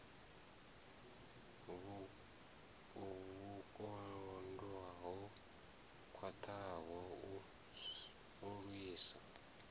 vhukando ho khwaṱhaho u lwisa